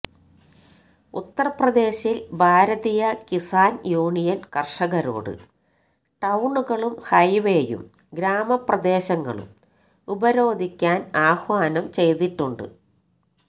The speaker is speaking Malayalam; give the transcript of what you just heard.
ഉത്തര്പ്രദേശില് ഭാരതീയ കിസാന് യൂണിയന് കര്ഷകരോട് ടൌണുകളും ഹൈവേയും ഗ്രാമപ്രദേശങ്ങളും ഉപരോധിക്കാന് ആഹ്വാനം ചെയ്തിട്ടുണ്ട്